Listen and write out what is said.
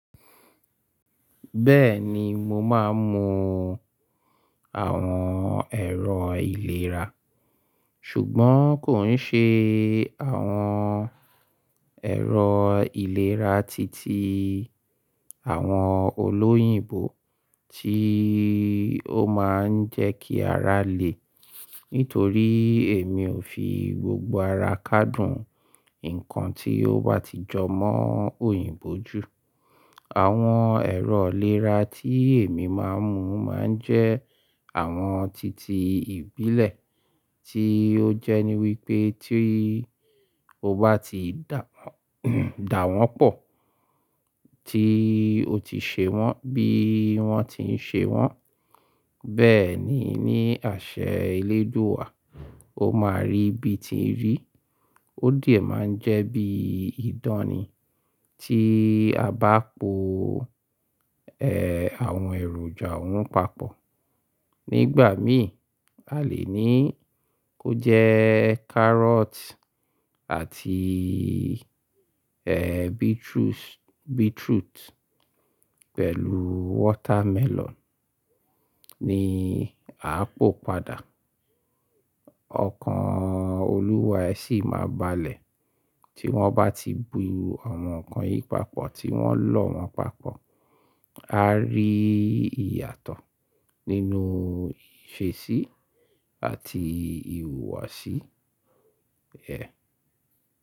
Bẹ́ẹ̀ni, mo máa ń mu àwọn ẹ̀rọ ìlera, ṣùgbọ́n kò ń ṣe àwọn ẹ̀rọ ìlera titi àwọn olóyìnbo tí ó máa ń jẹ́ kí ara le. Nítorí èmi ò fi gbogbo ara ká dùn ǹkan tí ó bá ti jọ mọ́ òyìnbó jù. Àwọn ẹ̀rọ ìlera tí èmi máa ń mu máa ń jẹ́ àwọn titi ìbílẹ̀ tí ó jẹ́ ní wípé tí ó bá ti dà wọ́n, dà wọ́n pọ̀ tí o ti ṣe wọ́n bí wọ́n ti ń ṣe wọ́n. Bẹ́ẹ̀ ni ní àṣẹ eléjò wa, o máa rí bíi tíì rí. Ó dìé máa ń jẹ́ bíi ìdánì tí a bá po àwọn èròjà ohun papọ̀. Nígbà míì a lè ní kó jẹ́ kárọ́tì àti beetroots, beetroot pẹ̀lú watermelon ni a ò pò padà. Ọkàn Olúwa ẹ sì máa balẹ̀ tí wọ́n bá ti bu àwọn nǹkan yìí papọ̀ tí wọ́n lọ̀ wọ́n papọ̀. A rí ìyàtọ̀ nínú ìṣesí àti ìhùwàsí.